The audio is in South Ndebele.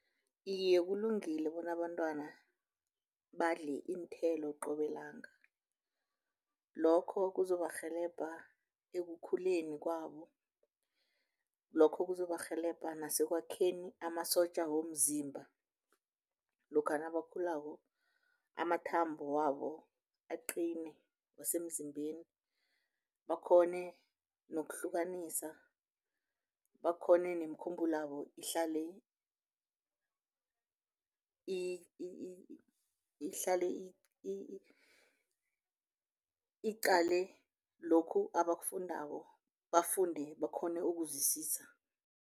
Iye, kulungile bona abantwana badle iinthelo qobe, langa lokho kuzobarhelebha ekukhuleni kwabo, lokho kuzobarhelebha nasekwakheni amasotja womzimba lokha nabakhulako, amathambo wabo aqine wasemzimbeni. Bakghone nokuhlukanisa, bakghone nemikhumbulo yabo ihlale ihlale iqale lokhu abakufundako, bafunde bakghone ukuzwisisa.